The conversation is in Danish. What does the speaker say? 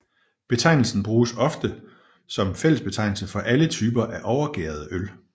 Betegnelsen bruges ofte som fællesbetegnelse for alle typer af overgærede øl